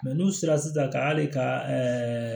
n'u sera sisan ka hali ka